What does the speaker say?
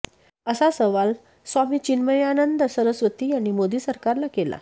असा सवाल स्वामी चिन्मयानंद सरस्वती यांनी मोदी सरकारला केला